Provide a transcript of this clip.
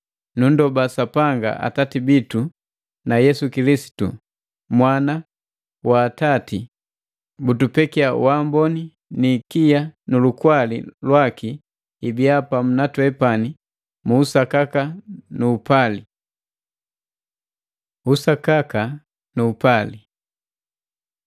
Nunndoba Sapanga Atati bitu na Yesu Kilisitu, Mwana wa Atati, butupekia waamboni ni ikia nu lukwali lwakii ibiya pamu na twepani mu usakaka nu upali. Usakaka nu upali